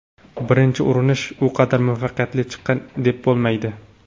Birinchi urinish u qadar muvaffaqiyatli chiqqan deb bo‘lmaydi.